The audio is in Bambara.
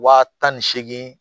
Wa tan ni seegin